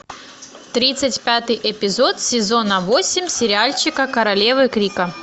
тридцать пятый эпизод сезона восемь сериальчика королевы крика